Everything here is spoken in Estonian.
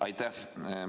Aitäh!